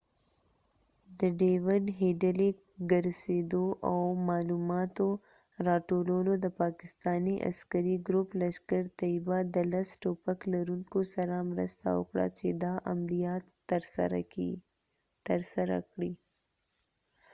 د ډیود هیډلې ګرڅیدو او معلوماتو را ټولولو دپاکستانی عسکری ګروپ لشکر طیبه د لس ټوپک لرونکو سره مرسته وکړه چې دا عملیات تر سره کړي